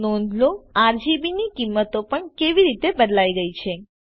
નોંધ લો આરજીબી ની કિંમતો પણ કેવી રીતે બદલાઈ ગયેલ છે